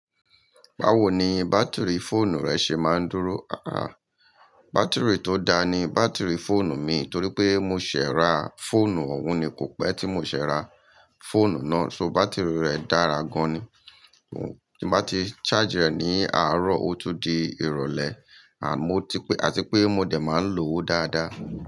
Báwo ni bátìrì fóònù rẹ ṣe máa ń dúró? Bátìrì tó daa ni bátìrì fóònù mi torí pé mo ṣẹ̀e ra fóònù òun ni kò pẹ́ tí mo ṣee ra fóònù náà, ṣó bátìrì rẹ̀ dára gan ni. Tí mo bá ti charge rẹ̀ ní àárọ̀ ó tún di ìrọ̀lẹ́, an mo ti pe àti pé mo de máa ń lo ó dáadáa.